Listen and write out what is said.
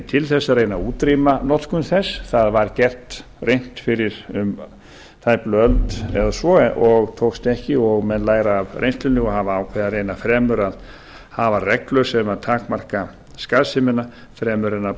til þess að reyna að útrýma notkun þess það var reynt fyrir um tæplega öld eða svo en tókst ekki og menn læra af reynslunni og hafa ákveðið að reyna fremur að hafa reglu sem takmarka skaðsemina fremur en að